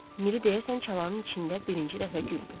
Miri deyəsən çalanın içində birinci dəfə güldü.